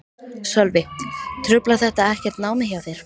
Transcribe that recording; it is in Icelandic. Sölvi: Truflar þetta ekkert námið hjá þér?